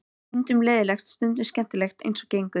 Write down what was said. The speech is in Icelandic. Stundum leiðinlegt, stundum skemmtilegt eins og gengur.